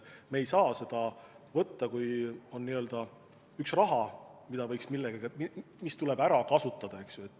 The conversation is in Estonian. Me ei saa seda võtta nii, et on üks raha, mis tuleb ära kasutada.